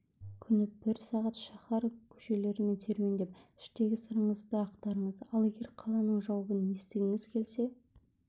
күні бір сағат шаһар көшелерімен серуендеп іштегі сырыңызды ақтарыңыз ал егер қаланың жауабын естігіңіз келсе